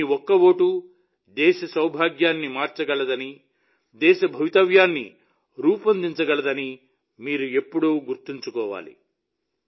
మీ ఒక్క ఓటు దేశ సౌభాగ్యాన్ని మార్చగలదని దేశ భవితవ్యాన్ని రూపొందించగలదని మీరు ఎల్లప్పుడూ గుర్తుంచుకోవాలి